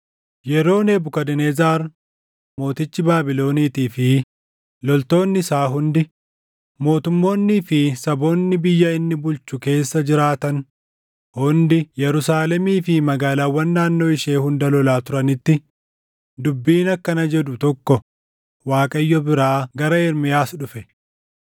Yeroo Nebukadnezar mootichi Baabiloniitii fi loltoonni isaa hundi, mootummoonnii fi saboonni biyya inni bulchu keessa jiraatan hundi Yerusaalemii fi magaalaawwan naannoo ishee hunda lolaa turanitti dubbiin akkana jedhu tokko Waaqayyo biraa gara Ermiyaas dhufe;